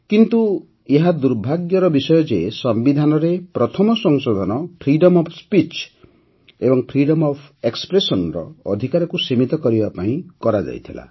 କିନ୍ତୁ ଏହା ଦୁର୍ଭାଗ୍ୟର ବିଷୟ ଯେ ସମ୍ବିଧାନରେ ପ୍ରଥମ ସଂଶୋଧନ ଫ୍ରିଡମ୍ ଅଫ୍ ସ୍ପିଚ୍ ଏବଂ ଫ୍ରିଡମ୍ ଅଫ୍ ଏକ୍ସପ୍ରେସନ୍ ର ଅଧିକାରକୁ ସୀମିତ କରିବା ପାଇଁ କରାଯାଇଥିଲା